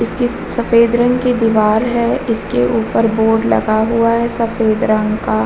इसकी स-सफ़ेद रंग की दीवार है इसके ऊपर बोर्ड लगा हुआ है सफ़ेद रंग का।